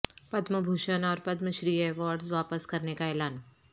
پدم بھوشن اور پدم شری ایوارڈس واپس کرنے کا اعلان